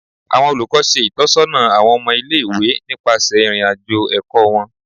Awọn olukọni ṣe itọsọna awọn ọmọ ile-iwe nipasẹ irin-ajo ẹkọ wọn